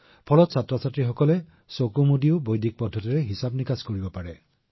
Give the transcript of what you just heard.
যাতে যদি শিশুৱে বিচাৰে তেওঁলোকে বৈদিক গণিত প্ৰণালীৰ জৰিয়তে চকু বন্ধ কৰিও গণনা কৰিব পাৰে